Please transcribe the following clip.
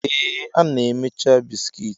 Ee, a na-emecha bisikiiti.